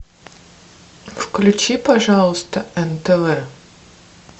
включи пожалуйста нтв